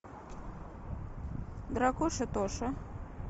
дракоша тоша